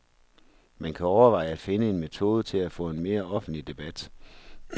Man kan overveje at finde en metode til at få en mere offentlig debat.